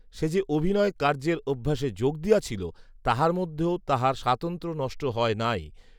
সে যে অভিনয়কার্যের অভ্যাসে যোগ দিয়াছিল তাহার মধ্যেও তাহার স্বাতন্ত্র্য নষ্ট হয় নাই